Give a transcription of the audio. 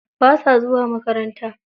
Basa zuwa makaranta.